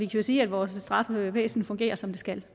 jo sige at vores straffevæsen fungerer som det skal